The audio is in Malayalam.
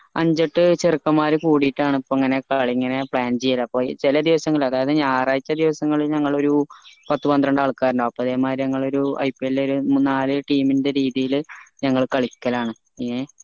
അഞ്ച എട്ട് ചെറുക്കന്മാർ കൂടീട്ടാണ് ഇപ്പൊ ഇങ്ങനെ ഒകെ ഇങ്ങനെ ഒകെ plan ചെയ്യൽ അപ്പൊ ചെല ദിവസങ്ങൾ അതായത് ഞായറാഴ്ച്ച ദിവസങ്ങളിൽ ഞങ്ങൾ ഒരു പത്ത് പത്രണ്ട് ആൾക്കാർ ഇണ്ടാവും അപ്പൊ അതെ മാതിരി ഞങ്ങൾ ഒരു IPL ഒരു നാല് team ൻ്റെ രീതിയിൽ ഞങ്ങൾ കളിക്കലാണ് ഏഹ്